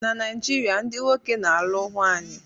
Na Naijiria, ndị nwoke na-alụ nwanyị.